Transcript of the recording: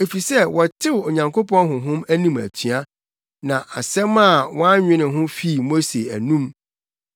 efisɛ wɔtew Onyankopɔn Honhom anim atua, na asɛm a wannwene ho fii Mose anom.